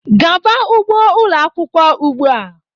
Gaaba n'ugbo ụlọ akwụkwọ ugbu a!